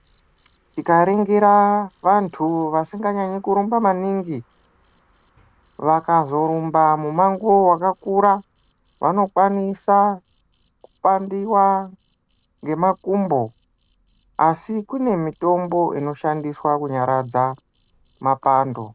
Tikaringira vantu vasinganyanye kurumba maningi ,vakazorumba mumango wakakura vanokwanisa kupandiwa ngemakumbo ,asi kunemitombo inoshandiswa kunyaradza mapando.